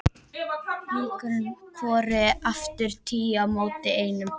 Líkurnar voru aftur tíu á móti einum.